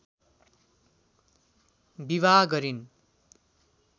विवाह गरिन्